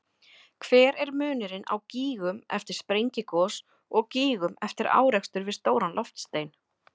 Hver er munurinn á gígum eftir sprengigos og gígum eftir árekstur við stóran loftstein?